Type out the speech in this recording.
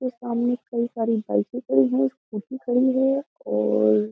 इसके सामने कई सारी बाइकें खड़ी हैं स्कूटी खड़ी है और --